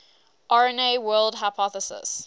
rna world hypothesis